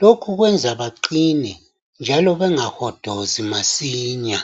Lokhu kwenza baqine njalo bengahodozi masinya